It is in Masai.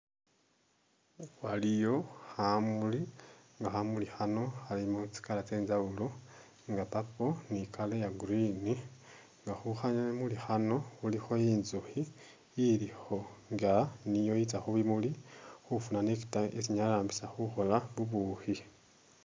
Waliyo khamuli nga khamuli khano Khalimo tsi'colour tsenjawulo nga purple ni color ya'green nga khukhamuli khano khulikho intsukhi ilikho nga niyo yitsa khubimuli khufuna nector isi inyala yarambisa khukhola bubukhi